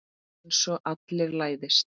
Einsog allir læðist.